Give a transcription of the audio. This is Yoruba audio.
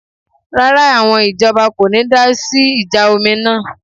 Rárá, àwọn ìjọba kò ní dásí ìjà omi náà